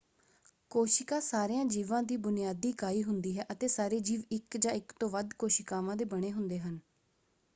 ਕੋਸ਼ਿਕਾ ਸਾਰਿਆਂ ਜੀਵਾਂ ਦੀ ਬੁਨਿਆਦੀ ਇਕਾਈ ਹੁੰਦੀ ਹੈ ਅਤੇ ਸਾਰੇ ਜੀਵ ਇੱਕ ਜਾਂ ਇੱਕ ਤੋਂ ਵੱਧ ਕੋਸ਼ਿਕਾਵਾਂ ਦੇ ਬਣੇ ਹੁੰਦੇ ਹਨ।